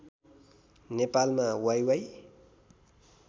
नेपालमा वाइवाइ